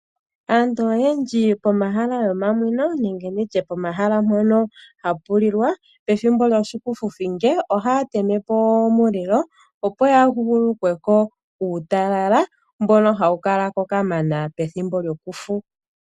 Aantu oyendji pomahala gomaninwo nenge nditye pomahala mpono hapu lilwa, pethimbo lyoshikufuthinge ohaya teme po omulilo opo ya huhulukwe ko uutalala mbono hawu kala ko kamana pethimbo lyokufu.